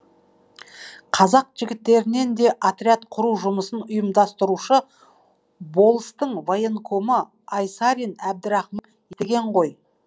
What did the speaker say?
қазақ жігіттерінен де отряд құру жұмысын ұйымдастырушы болыстың военкомы айсарин деген ғой